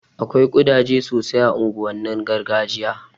Akwai ƙudaje sosai a unguwannin gargajiya